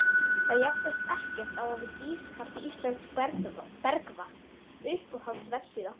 það jafnast ekkert á við ískalt íslenskt bergvatn Uppáhalds vefsíða?